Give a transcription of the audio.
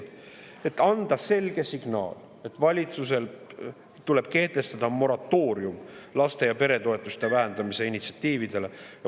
Aga anda selge signaali, et valitsusel tuleb kehtestada moratoorium laste‑ ja peretoetuste vähendamise initsiatiividele.